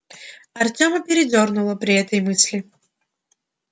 артема передёрнуло при этой мысли